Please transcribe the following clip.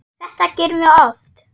Þetta gerum við oft.